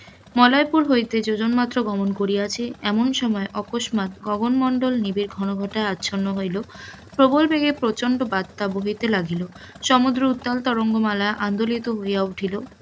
মলয়পুর হইতে যোজন মাত্র গমন করিয়াছি এমন সময়ে অকস্মাৎ গগন মন্ডল নিবিড় ঘনঘটাই আছন্ন হইল, প্রবল বেগে প্রচন্ড বার্তা বহিতে লাগিল, সমুদ্র উত্তাল তরঙ্গমালায় আন্দোলিত হইয়া উঠিল,